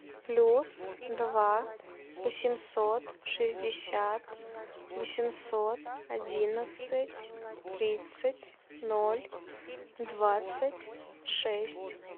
плюс два восемьсот шестьдесят восемьсот одиннадцать тридцать ноль двадцать шесть